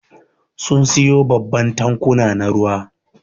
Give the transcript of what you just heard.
Sun siyo babban tankuna na ruwa.